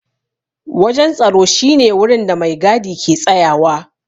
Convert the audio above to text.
Wajen tsaro shi ne wurin da maigadi ke tsayawa.